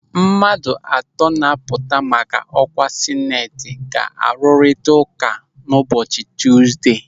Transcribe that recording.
Mmadụ atọ na-apụta maka ọkwa Sineti ga-arụrita ụka ụbọchị Tuzdee.